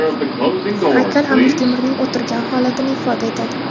Haykal Amir Temurning o‘tirgan holatini ifoda etadi.